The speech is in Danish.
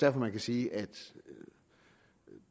at man kan sige at